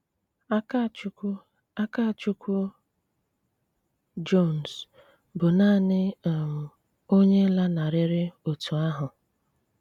Ákàchùkwù Ákàchùkwù Jones bụ́ naanị um onye lànarịrị otu ahụ.